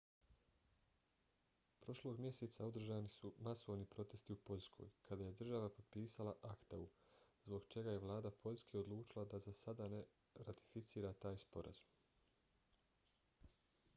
prošlog mjeseca održani su masovni protesti u poljskoj kada je država potpisala acta-u zbog čega je vlada poljske odlučila da za sada ne ratificira taj sporazum